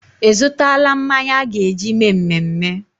Ị zụtaala mmanya a ga-eji mee mmemme?